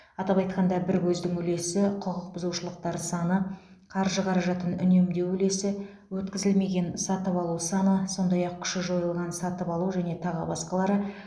атап айтқанда бір көздің үлесі құқық бұзушылықтар саны қаржы қаражатын үнемдеу үлесі өткізілмеген сатып алу саны сондай ақ күші жойылған сатып алу және тағы басқалары